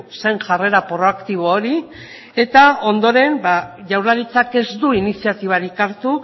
zen jarrera proaktibo hori eta ondoren jaurlaritzak ez du iniziatibarik hartu